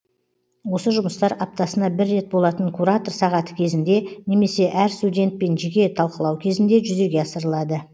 осы жұмыстар аптасына бір рет болатын куратор сағаты кезінде немесе әр студентпен жеке талқылау кезінде жүзеге асырылады